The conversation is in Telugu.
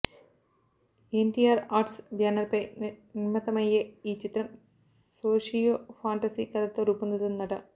ఎన్టీఆర్ ఆర్ట్స్ బ్యానర్ పై నిర్మితమయ్యే ఈ చిత్రం సోషియో ఫాంటసీ కథతో రూపొందుతుందట